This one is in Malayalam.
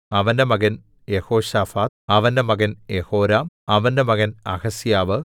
അവന്റെ മകൻ യെഹോശാഫാത്ത് അവന്റെ മകൻ യെഹോരാം അവന്റെ മകൻ അഹസ്യാവ്